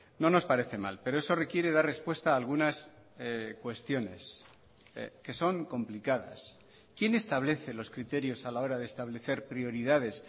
no nos parece mal pero eso requiere dar respuesta a algunas cuestiones que son complicadas quién establece los criterios a la hora de establecer prioridades